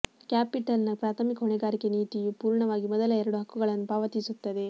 ಕ್ಯಾಪಿಟಲ್ನ ಪ್ರಾಥಮಿಕ ಹೊಣೆಗಾರಿಕೆ ನೀತಿಯು ಪೂರ್ಣವಾಗಿ ಮೊದಲ ಎರಡು ಹಕ್ಕುಗಳನ್ನು ಪಾವತಿಸುತ್ತದೆ